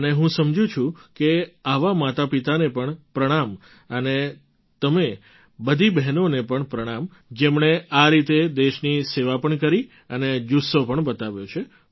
અને હું સમજું છું કે આવાં માતાપિતાને પણ પ્રણામ અને તમે બધી બહેનોને પણ પ્રણામ જેમણે આ રીતે દેશની સેવા પણ કરી અને જુસ્સો પણ બતાવ્યો છે